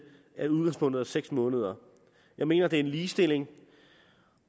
nu hvor udgangspunktet er seks måneder jeg mener det er en ligestilling